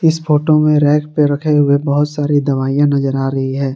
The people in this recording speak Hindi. इस फोटो में रैक पे रखे हुए बहुत सारी दवाइयां नजर आ रही है।